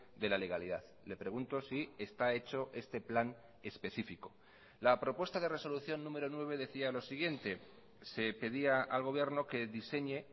de la legalidad le pregunto si está hecho este plan específico la propuesta de resolución número nueve decía lo siguiente se pedía al gobierno que diseñe